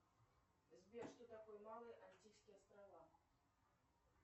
сбер что такое малые антильские острова